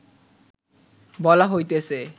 বলা হইতেছে